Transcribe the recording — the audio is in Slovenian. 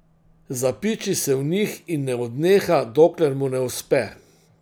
Zapiči se v njih in ne odneha, dokler mu ne uspe.